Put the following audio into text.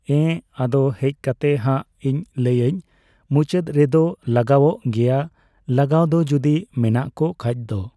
ᱮᱸ, ᱟᱫᱚ ᱦᱮᱡ ᱠᱟᱛᱮ ᱦᱟᱸᱜ ᱤᱧ ᱞᱟᱹᱭᱟᱹᱧ᱾ ᱢᱩᱪᱟᱹᱫ ᱨᱮᱫᱚ ᱞᱟᱜᱟᱣᱚᱜ ᱜᱮᱭᱟ ᱞᱟᱜᱟᱣ ᱫᱚ ᱡᱩᱫᱤ ᱢᱮᱱᱟᱜ ᱠᱚ ᱠᱷᱟᱡ ᱫᱚ ᱾